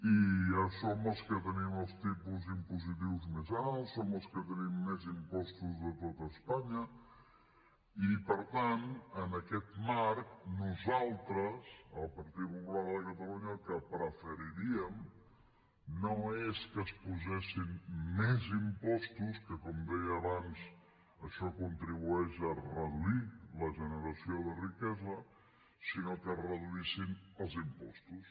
i ja som els que tenim els tipus impositius més alts som els que tenim més impostos de tot espanya i per tant en aquest marc nosaltres el partit popular de catalunya el que preferiríem no és que es posessin més impostos que com deia abans això contribueix a reduir la generació de riquesa sinó que es reduïssin els impostos